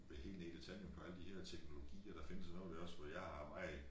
Vil helt ned i detaljen på alle der her teknologier der findes og noget det også hvor jeg har meget